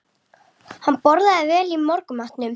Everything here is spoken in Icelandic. Hann borðaði vel í morgunmatnum